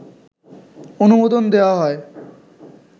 অনুমোদন দেয়া হয়